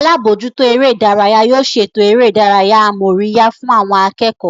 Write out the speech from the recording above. Alábòójútó eré ìdárayá yóò ṣètò eré ìdárayá amóríyá fún àwọn akẹ́kọ̀ọ́